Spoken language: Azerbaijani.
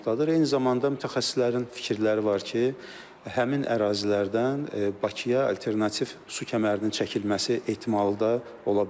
Eyni zamanda mütəxəssislərin fikirləri var ki, həmin ərazilərdən Bakıya alternativ su kəmərinin çəkilməsi ehtimalı da ola bilər.